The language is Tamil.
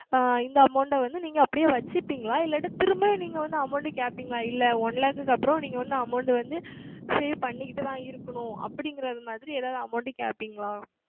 ஆஹ் இந்த Amount வந்து நீங்கள் அப்படியே வைத்து கொள்வீர்களா இல்லை திரும்ப நீங்கள் வந்து Amount கேட்பீர்களா இல்லை One Lakh க்கு அப்புறம் நீங்கள் வந்து Amount வந்து Save செய்து கொண்டு தான் இருக்கனும் அப்படி என்பது மாதிரி எதாவது Amount கேட்பீர்களா